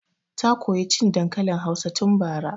Ta koya cin dankalin hausa tun bara